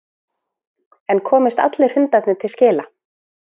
En komast allir hundarnir til skila?